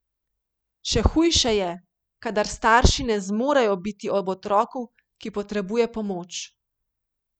Še hujše je, kadar starši ne zmorejo biti ob otroku, ki potrebuje pomoč.